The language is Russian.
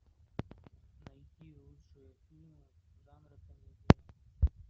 найти лучшие фильмы жанра комедия